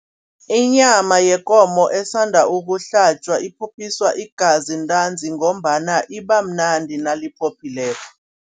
Inyama yekomo esanda ukuhlatjwa iphophiswa igazi ntanzi ngombana iba mnandi naliphophileko.